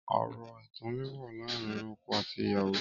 Ọrọ ẹtàn lè wà làárin ọkọ àtí ìyàwó